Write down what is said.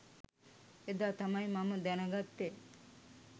එදා තමයි මම දැනගත්තෙ.